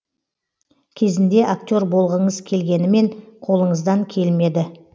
кезінде актер болғыңыз келгенімен қолыңыздан келмеді